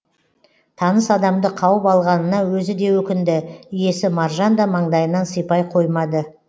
таныс адамды қауып алғанына өзі де өкінді иесі маржан да маңдайынан сипай қоймады